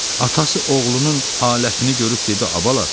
Atası oğlunun halətini görüb dedi: